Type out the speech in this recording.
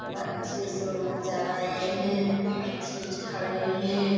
बच्चे शोर मचा रहे है खड़े हैं।